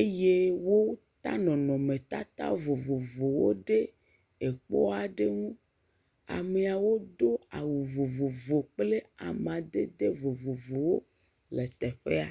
eye wó ta nɔnɔme tata vovovowo ɖe ekpɔaɖe ŋu amɛawo dó awu vovovo kplɛ amadede vovovowo le teƒɛa